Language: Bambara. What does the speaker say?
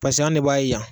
Paseke an de b'a ye yan